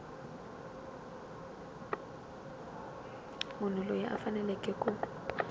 munhu loyi a faneleke ku